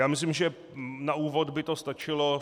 Já myslím, že na úvod by to stačilo.